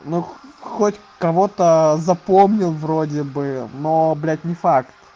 ну хоть кого то запомнил вроде бы но блядь не факт